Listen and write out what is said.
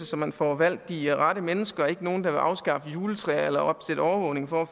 så man får valgt de rette mennesker og ikke nogen der vil afskaffe juletræer eller opsætte overvågning for at